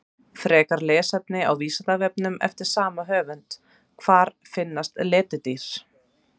Frekara lesefni á Vísindavefnum eftir sama höfund: Hvar finnast letidýr?